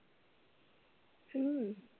हम्म